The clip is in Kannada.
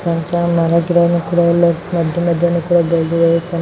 ಸಣ್ಣ ಸಣ್ಣ ನಾಲಕು ಗಿಡನು ಕೂಡ ಇಲ್ಲಿ ಮದ್ಯ ಮದ್ಯ ಕೊಡು ಬೆಳದಿದ್ದಾವೆ .